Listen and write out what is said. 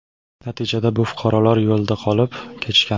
Natijada bu fuqarolar yo‘lda qolib ketishgan.